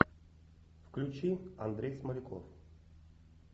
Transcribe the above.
включи андрей смоляков